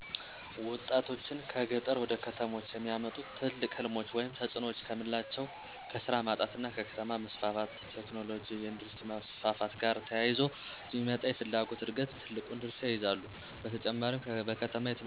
ወጣቶችን ከገጠር ወደ ከተሞች የሚያመጡ ትልቅ ሕልሞች ወይም ተጽዕኖዎች ከምናላቸው ከስራ ማጣት እና ከከተማ መስፋፋት (ቴክኖሎጅ፣ የኢንዱስትሪ መስፋፋት )ጋር ተያይዞ የሚመጣ የፍላጎት ዕድገት ትልቁን ድርሻ ይይዛሉ። በተጨማሪም በከተማ የትምህርትእና የጤና አገልግሎት መስፋፋት እንዲሁም የሚፈልጉትን ህልም ለማሳካት በብዙ ነገሮች ከገጠር ይልቅ ከተማ የተሻለ ሆኖ በመገኘቱ። የህይወት ለውጥ ወጣቶች እንዲያመጡ ከሚያነሳሷቸው ነገሮች አቻዎቻቸው ያሉበት ኢኮኖሚያዊ እና ስነልቦናዊ ዕድገት ላቅ ያለ መሆኑን በዋነኛነት መጥቀስ ይቻላል።